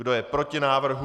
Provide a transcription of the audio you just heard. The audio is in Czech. Kdo je proti návrhu?